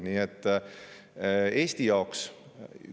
Nii et Eesti jaoks on nii,.